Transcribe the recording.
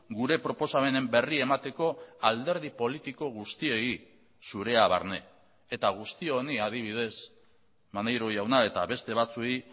gure proposamenen berri emateko alderdi politiko guztiei zurea barne eta guzti honi adibidez maneiro jauna eta beste batzuei